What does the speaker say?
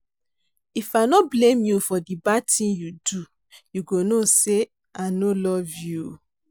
If I no blame you for di bad ting you do, you go know say i no love you.